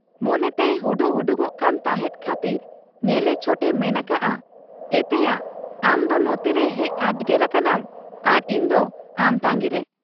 ᱢᱚᱱᱮᱛᱮᱭ ᱦᱩᱰᱩᱜ ᱦᱩᱰᱩᱜᱚᱜ ᱠᱟᱱ ᱛᱟᱦᱮᱸᱫ ᱠᱷᱟᱹᱛᱤᱨ ᱧᱮᱞᱮ ᱪᱷᱚᱴ ᱮ ᱢᱮᱱ ᱟᱠᱟᱜ ᱟ, 'ᱮᱛᱮᱭᱟ ᱟᱢᱫᱚ ᱱᱚᱛᱮᱨᱮ ᱦᱮᱡ ᱟᱰᱜᱮᱨ ᱟᱠᱟᱱᱟᱢ ᱟᱨ ᱤᱧᱫᱚ ᱟᱢ ᱛᱟᱺᱜᱤᱨᱮ ?